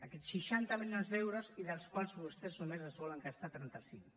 aquests seixanta milions d’euros i dels quals vostès només se’n volen gastar trenta cinc